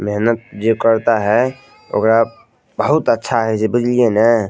मेहनत जे करता है ओकरा बहुत अच्छा हेय छै बुझलिये ना।